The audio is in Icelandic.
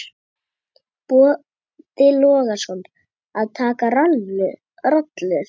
Boði Logason: Að taka rollur?